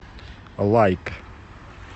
лайк